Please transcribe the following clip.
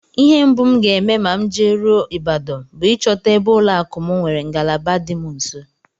Ihe mbụ m ga-eme ma m jeruo Ibadan bụ ịchọta ebe ụlọakụ m nwere ngalaba dị m nso